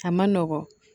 A ma nɔgɔn